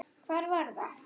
Hvar var það?